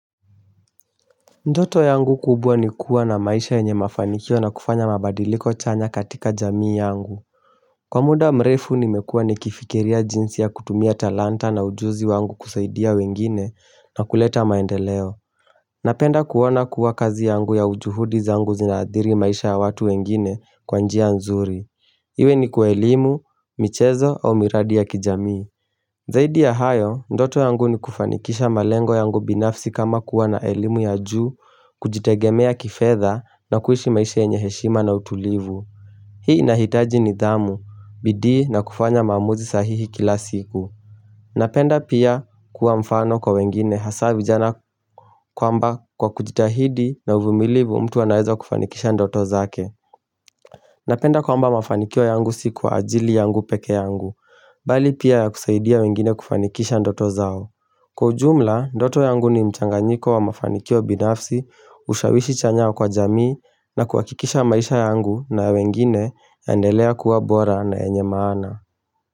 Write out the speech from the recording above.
Ndoto yangu kubwa ni kuwa na maisha yenye mafanikio na kufanya mabadiliko chanya katika jamii yangu. Kwa muda mrefu nimekua nikifikiria jinsi ya kutumia talanta na ujuzi wangu kusaidia wengine na kuleta maendeleo. Napenda kuona kuwa kazi yangu ya ujuhudi zangu zinaadhiri maisha ya watu wengine kwa njia nzuri. Iwe ni kwa elimu, michezo au miradi ya kijamii. Zaidi ya hayo, ndoto yangu ni kufanikisha malengo yangu binafsi kama kuwa na elimu ya juu, kujitegemea kifedha na kuishi maisha yenye heshima na utulivu Hii inahitaji nidhamu, bidii na kufanya maamuzi sahihi kila siku Napenda pia kuwa mfano kwa wengine hasa vijana kwamba kwa kujitahidi na uvumilivu mtu anaweza kufanikisha ndoto zake Napenda kwamba mafanikio yangu si kwa ajili yangu peke yangu, bali pia ya kusaidia wengine kufanikisha ndoto zao. Kwa ujumla, ndoto yangu ni mchanganyiko wa mafanikio binafsi ushawishi chanya kwa jamii na kuhakikisha maisha yangu na wengine yaendelea kuwa bora na enye maana.